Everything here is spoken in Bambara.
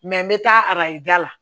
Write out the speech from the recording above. n bɛ taa arajo da la